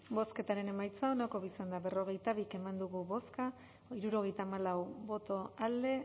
bozketaren emaitza onako izan da berrogeita bi eman dugu bozka hirurogeita hamalau boto alde